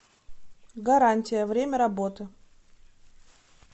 гарантия время работы